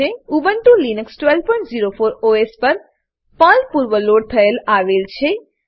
Ubuntu Linux 1204 OS પર Perl પૂર્વ load થયેલ આવે છે